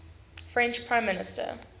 french prime minister